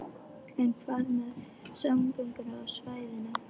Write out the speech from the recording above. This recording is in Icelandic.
En hvað með samgöngur á svæðinu?